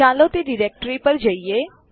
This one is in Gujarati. ચાલો તે ડિરેક્ટરી પર જઈએ